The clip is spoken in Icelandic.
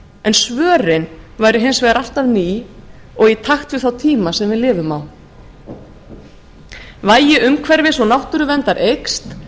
en svörin væru hins vegar alltaf ný og í takt við þá tíma sem við lifum á vægi umhverfis og náttúruverndar eykst